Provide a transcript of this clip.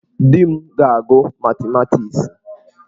Di m ga-agụ matimatiksi.